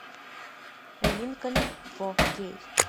линкольн фо кей